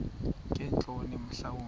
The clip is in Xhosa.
ngeentloni mhla wumbi